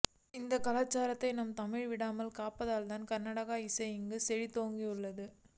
அந்தக் கலாசாரத்தை நம் தமிழ்நாடு விடாமல் காப்பதால்தான் கர்னாடக இசை இங்கு செழித்தோங்கியுள்ளது